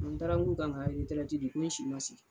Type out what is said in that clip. N taara K'u ka n ka di ko n si ma se.